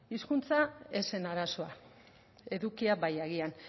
hizkuntza ez zen arazoa edukia bai agian